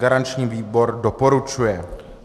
Garanční výbor doporučuje.